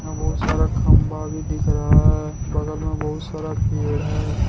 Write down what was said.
बहुत सारा खंबा भी दिख रहा है बगल में बहुत सारा पेड़ है।